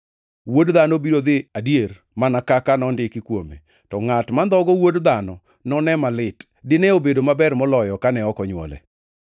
Wuod Dhano biro dhi adier mana kaka nondiki kuome. To ngʼat mandhogo Wuod Dhano none malit! Dine obedo maber moloyo kane ok onywole.”